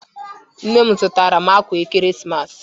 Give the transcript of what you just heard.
Nne m zụtara m ákwà ekeresimesi